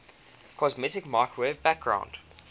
cosmic microwave background